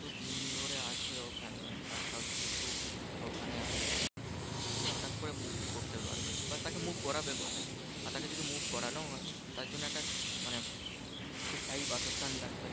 এতদিন ধরে আছে ওখানে তার সবকিছু ওখানে আছে। সে হটাৎ করে move করতে পারবে না। বা তাকে move করাবে কোথায়? আর তাকে যদি move করানোও হয়? তার জন্য একটা মানে স্থায়ী বাসস্থান লাগবে।